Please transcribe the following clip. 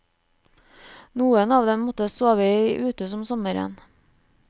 Noen av dem måtte sove i uthus om sommeren.